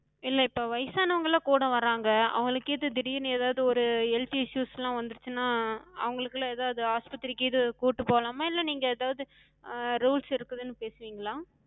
இல்ல இப்ப வயசானவங்கல்லா கூட வராங்க. அவங்களுக்கு எது திடீர்னு எதாது ஒரு health issues லா வந்துருச்சுனா, அவங்களுக்குலா எதாது ஆஸ்பத்திரிக்கு எது கூட்டு போலாமா? இல்ல நீங்க எதாது அஹ் rules இருக்குதுன்னு பேசுவிங்களா?